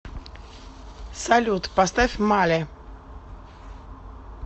салют поставь мали